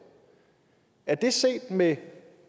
er det set med